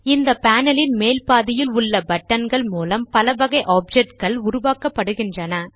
இந்த பேனல் ன் மேல்பாதியில் உள்ள buttonகள் மூலம் பலவகை objectகள் உருவாக்கப்படுகின்றன